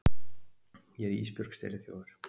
Ég er Ísbjörg steliþjófur.